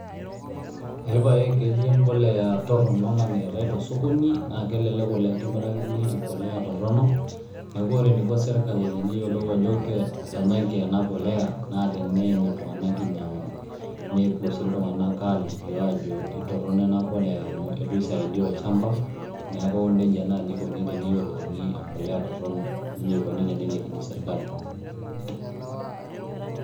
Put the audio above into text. Epae ketii empolea torronok namiritae tosokoni, na kelelek oleng' kimirakini empolea torrono, neeku ore eniko serkali teneyiolou ajo etanyaki ena polea, naa teneeny iltung'anak inyang'u. Nepuo si iltung'anak alikio ajo etorrono ena polea amu itu isaidia olchamba, neeku nejia naji ikoni teneyiolouni empolea torrono. Nejia eikoni tenelikini serkali.